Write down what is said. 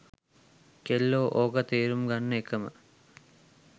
කෙල්ලො ඕක තෙරුම් ගන්න එකම